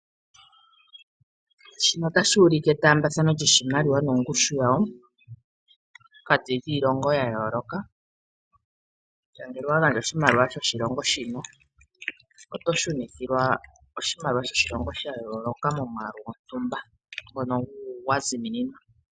Etaambathano lyiimaliwa gongushu yawo pokati kiilonga ya yooloka ngele owa gandja oshimaliwa shoshilongo shino oto pewa shimwe shoshilongo oshikwawo momukalo gwayooloka ngono gwazimininwa.